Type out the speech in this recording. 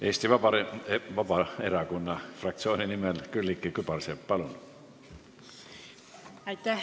Eesti Vabaerakonna fraktsiooni nimel Külliki Kübarsepp, palun!